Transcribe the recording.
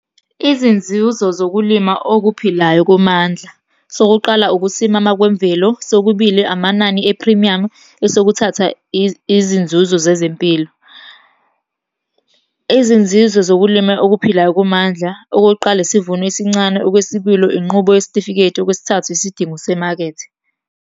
Izinzuzo zokulima okuphilayo komandla. Sokuqala, ukusimama kwemvelo. Sokubili, amanani ephrimiyamu. Esokuthatha, izinzuzo zezempilo. Izinzizo zokulima okuphilayo komandla, okokuqala isivuno esincane. Okwesibili, inqubo yesitifiketi. Okwesithathu, isidingo semakethe.